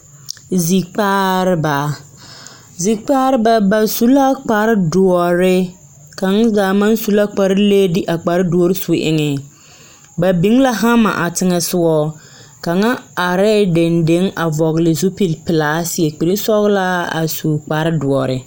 Zikpaareba! Zikpareba ba su la kparedoɔre, kaŋ zaa maŋ su la kparelee de a kparedoɔre su eŋe. Ba biŋ la hama a teŋɛsogɔ. Kaŋa arɛɛ dendeŋ a vɔgle zipilpelaa seɛ kpirisɔglaa a su kparedoɔre.